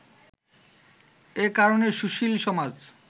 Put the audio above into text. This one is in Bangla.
এ কারণে সুশীল সমাজ